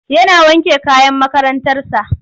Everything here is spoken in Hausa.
Yana wanke kayan makarantarsa.